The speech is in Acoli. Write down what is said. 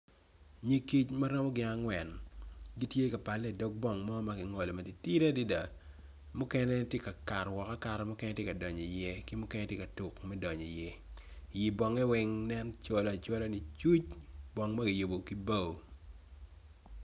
Nyig kic maromo gin angwen gitye ka pale idog pol mo magingolo matitidi adada mukene tye ka kato woko akata mukene tye ka donyo iye ki mukene tye ka tuk me donyo i ye i bonge weng nen cola acola licuc bong magiyubo ki bao.